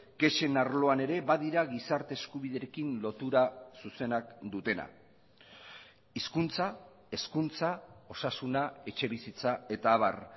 kexen arloan ere badira gizarte eskubiderekin lotura zuzenak dutena hizkuntza hezkuntza osasuna etxebizitza eta abar